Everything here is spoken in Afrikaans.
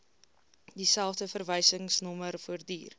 dieselfde verwysingsnommer voortduur